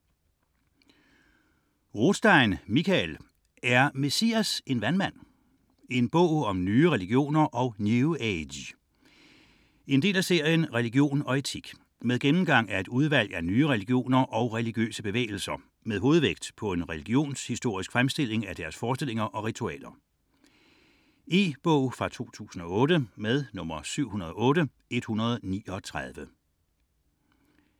29.1 Rothstein, Mikael: Er Messias en vandmand?: en bog om nye religioner og New Age Del af serien Religion/etik. Gennemgang af et udvalg af nye religioner og religiøse bevægelser med hovedvægt på en religionshistorisk fremstilling af deres forestillinger og ritualer. E-bog 708139 2008.